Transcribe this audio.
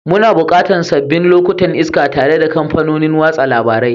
Muna buƙatan sabbin lokutan iska tare da kafofin watsa labarai.